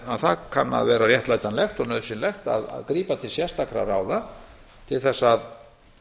að það kann að vera réttlætanlegt og nauðsynlegt að grípa til sérstakra ráða til þess að